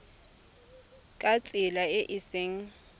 ka tsela e e seng